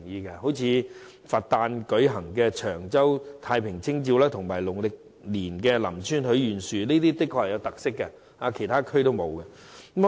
舉例而言，佛誕的長洲太平清醮及農曆年的林村許願樹均甚具特色，是其他地區所沒有的。